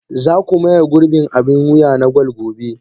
Za ku maye gurbin abin wuya na gwal gobe.